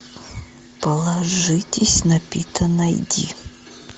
положитесь на пита найди